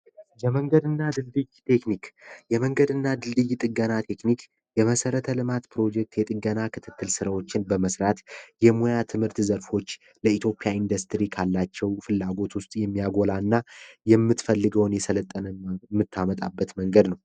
የመንገድና ድልድይ ቴክኒክ የመንገድና ድልድይ ጥገና ቴክኒክ የመሰረተ ልማት ፕሮጀክት የጥንት ስራዎችን በመስራት የሙያ ትምህርት ዘርፎች ለኢትዮጵያ ኢንዱስትሪ ካላቸው ፍላጎት ውስጥ የሚያጎላና የምትፈልገውን የሰለጠነ ምታመጣበት መንገድ ነው